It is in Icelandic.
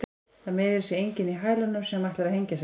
Það meiðir sig enginn í hælunum sem ætlar að hengja sig.